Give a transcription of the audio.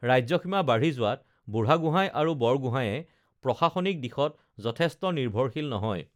ৰাজ্যসীমা বাঢ়ি যোৱাত বুঢ়াগোঁহাই আৰু বৰগোঁহাইয়ে প্ৰশাসনিক দিশত যথেষ্ট নিৰ্ভৰশীল নহয়